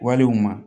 Walew ma